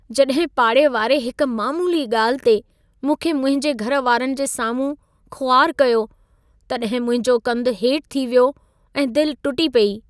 जॾहिं पाड़े वारे हिक मामूली ॻाल्हि ते मूंखे मुंहिंजे घर वारनि जे साम्हूं ख़ुवारु कयो, तॾहिं मुंहिंजो कंधु हेठि थी वियो ऐं दिल टुटी पेई।